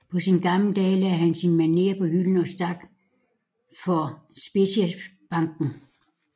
På sine gamle dage lagde han sin manér på hylden og stak for Speciesbanken